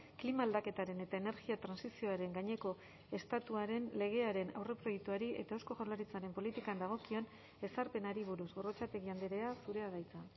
klima aldaketaren eta energia trantsizioaren gaineko estatuaren legearen aurreproiektuari eta eusko jaurlaritzaren politikan dagokion ezarpenari buruz gorrotxategi andrea zurea da hitza